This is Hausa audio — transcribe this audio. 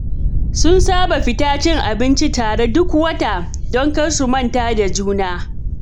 Sun saba fita cin abinci tare duk wata, don kar su manta da juna.